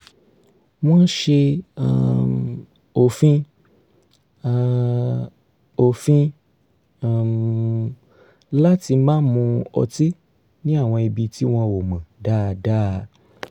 wọ́n s̩e um òfin um òfin um láti má mu ọtí ní àwọn ibi tí wọn ò mọ̀ dáadáa